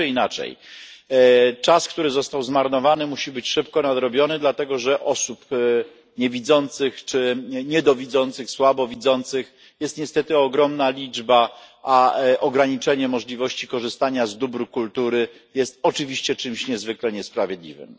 Tak czy inaczej, czas, który został zmarnowany, musi być szybko nadrobiony, dlatego że osób niewidzących czy niedowidzących, słabowidzących jest niestety ogromna liczba, a ograniczenie możliwości korzystania z dóbr kultury jest oczywiście czymś niezwykle niesprawiedliwym.